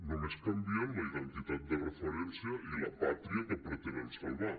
només canvien la identitat de referència i la pàtria que pretenen salvar